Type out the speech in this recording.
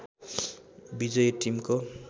विजय टिमको